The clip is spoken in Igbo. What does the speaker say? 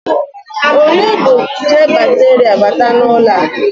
Onye bu nje bakterịa bata n'ụlọ a?